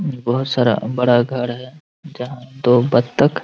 बहुत सारा बड़ा घर है जहॉ दो बत्तख --